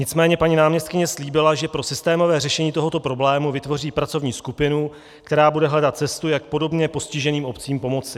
Nicméně paní náměstkyně slíbila, že pro systémové řešení tohoto problému vytvoří pracovní skupinu, která bude hledat cestu, jak podobně postiženým obcím pomoci.